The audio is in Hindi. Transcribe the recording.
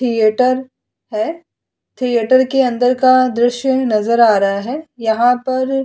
थिएटर है। थिएटर के अंदर का दृश्य नजर आ रहा है। यहाँ पर --